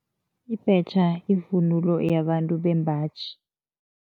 Ibhetjha yivunulo yabantu bembaji.